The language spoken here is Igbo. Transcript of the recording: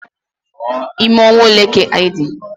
Ime ọnwa ole ka ịdị?